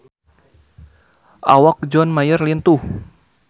Awak John Mayer lintuh